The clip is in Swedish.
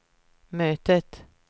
mötet